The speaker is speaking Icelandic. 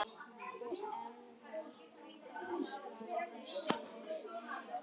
Og enn vara þessi ósköp.